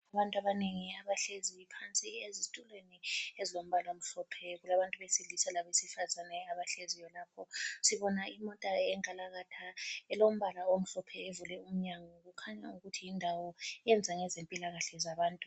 Abantu abanengi abahlezi phansi ezitulweni ezilombala omhlophe. Kulabantu besilisa labesifazana abahlezi khonapho. Sibona imota enkalakatha elombala omhlophe evule umnyango. Kukhanya yindawo eyenza ngezempilakahle zabantu.